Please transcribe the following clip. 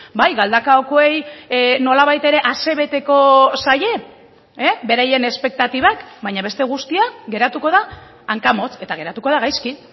bai galdakaokoei nolabait ere asebeteko zaie beraien espektatibak baina beste guztia geratuko da hankamotz eta geratuko da gaizki